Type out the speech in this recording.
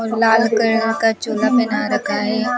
और लाल कलर का चोला बना रखा है।